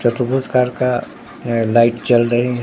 चतुर्भुज आकार का अ लाइट जल रही है।